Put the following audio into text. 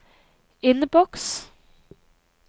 innboks